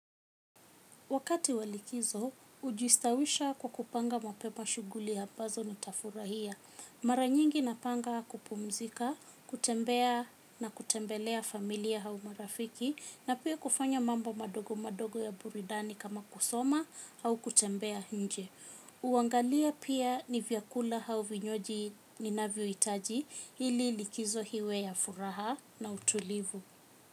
Wakati wa likizo, hujistawisha kwa kupanga mapema shughuli ambazo nitafurahia. Mara nyingi napanga kupumzika, kutembea na kutembelea familia au marafiki na pia kufanya mambo madogo madogo ya burudani kama kusoma au kutembea nje. Huangalia pia ni vyakula au vinywaji ninavyo hitaji ili likizo iwe ya furaha na utulivu.